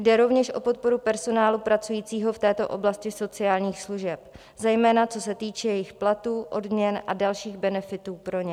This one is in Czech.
Jde rovněž o podporu personálu pracujícího v této oblasti sociálních služeb, zejména co se týče jejich platů, odměn a dalších benefitů pro ně.